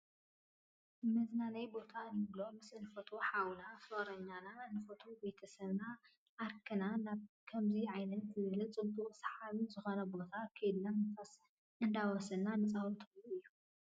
መዝናነይ ቦታ እንብሎ ምስ እንፈትዎ ሓውና፣ ፍቕረኛና፣ እንፈትዎ ቤተ ሰብናን ሓርክናን ናብ ከምዚ ዓይነት ዝበለ ፅቡቕን ሰሓብን ዝኾነ ቦታ ከይድና ንፋስ እንዳወሰድና ንፃወተሉ እዩ፡፡